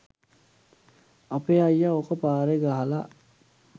අපේ අයියා ඕක පාරේ ගහලා